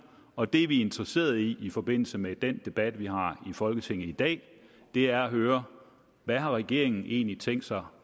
og det vi er interesseret i i forbindelse med den debat vi har i folketinget i dag er at høre hvad har regeringen egentlig tænkt sig